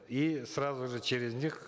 и сразу же через них